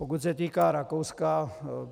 Pokud se týká Rakouska.